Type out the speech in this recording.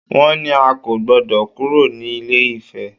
Wọ́n ní a kò gbọdọ̀ kúrò ní ilé-ifè!